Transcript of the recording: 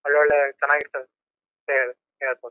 ಒಳ್ಳೆ ಒಳ್ಳೆ ಚನ್ನಾಗ್ ಇರ್ತವು ಅಂತಾ ಹೇಳ್ಬಹುದು.